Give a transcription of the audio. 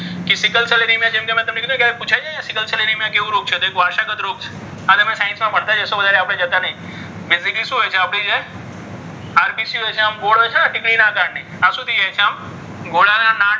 કે sickle cell anaemia જેમ મેં તમને કીધુ ને કે પુછાય છે ને સિકલ સેલ એનેમિયા કેવ રોગ છે? તો વારસાગત રોગ છે. આ તમે સાયન્સમાં ભણતા જ હશો. વધારે આપણી જતા નથી કે જેની અંદર શું હોય છે? આપણે જે RBC હોય છે. ને ગોળ હોય છે ને ટીકડી ના આકારની આમાં શું થાય છે? ઘોડાના નાળ,